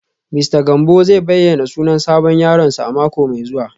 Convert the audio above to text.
Mista Gambo zai bayyana sunan sabon yaronsa a mako mai zuwa